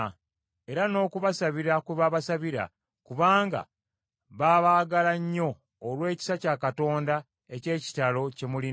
era n’okubasabira kwe babasabira kubanga babaagala nnyo olw’ekisa kya Katonda eky’ekitalo kye mulina;